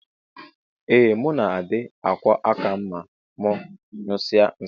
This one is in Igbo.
Ee muna adi akwọ akam ma mu nyụsie nsi.